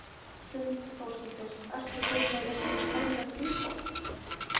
Hrund Þórsdóttir: Ertu kominn með einhver formleg tilboð?